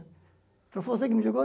Falei, foi você que me jogou?